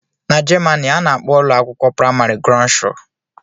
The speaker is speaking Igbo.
N'jemani ana akpọ ụlọakwụkwọ primari "grundschule"